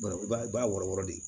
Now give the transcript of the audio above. i b'a wɔrɔ de